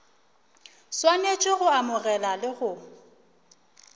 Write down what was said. swanetše go amogela le go